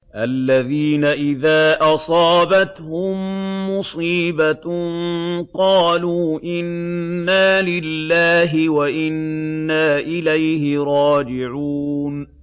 الَّذِينَ إِذَا أَصَابَتْهُم مُّصِيبَةٌ قَالُوا إِنَّا لِلَّهِ وَإِنَّا إِلَيْهِ رَاجِعُونَ